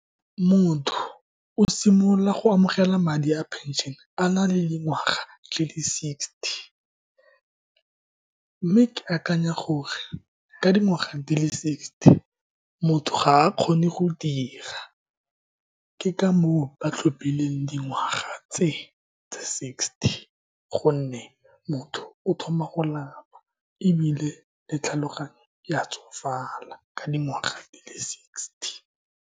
Motho o simolola go amogela madi a pension-e a na le dingwaga di le sixty. Mme ke akanya gore ka dingwaga di le sixty, motho ga a kgone go dira. Ke ka moo ba tlhophileng dingwaga tse tsa sixty, ka gonne motho o thoma go lapa, ebile le tlhaloganyo ya tsofala ka dingwaga di le sixty.